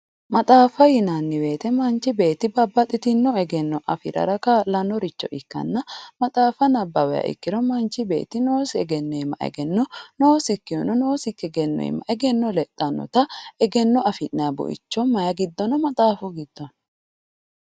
Maxaafa yinnanni woyte manchi beetti babbaxxitino egenno afirara kaa'lanoricho ikkanna maxaafa nabbawiha ikkiro manchi beetti noosi egeno iima egenno lexanotta egenno affi'nanni buicho maayi giddo no"? Maxaafu giddo no.